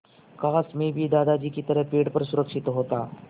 काश मैं भी दादाजी की तरह पेड़ पर सुरक्षित होता